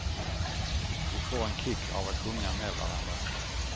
Vi får en kick av att sjunga med varandra.